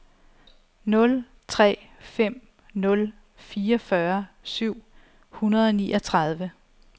nul tre fem nul fireogfyrre syv hundrede og niogtredive